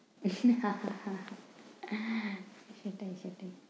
ভীষণ হা হা হা হা সেটাই সেটাই।